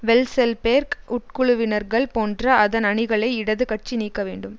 Vekselberg உட்குழுவினர்கள் போன்ற அதன் அணிகளை இடது கட்சி நீக்க வேண்டும்